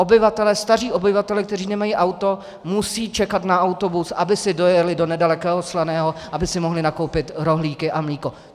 Obyvatelé, staří obyvatelé, kteří nemají auto, musí čekat na autobus, aby si dojeli do nedalekého Slaného, aby si mohli nakoupit rohlíky a mléko.